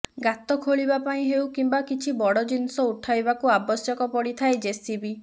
ଗାତ ଖୋଳିବା ପାଇଁ ହେଉ କିମ୍ବା କିଛି ବଡ଼ ଜିନିଷ ଉଠାଇବାକୁ ଆବଶ୍ୟକ ପଡ଼ିଥାଏ ଜେସିବି